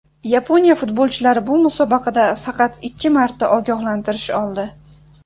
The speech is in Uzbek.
Yaponiya futbolchilari bu musobaqada faqat ikki marta ogohlantirish oldi.